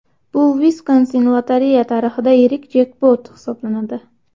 Bu Viskonsin lotereya tarixida yirik jekpot hisoblanadi.